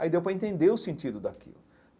Aí deu para entender o sentido daquilo.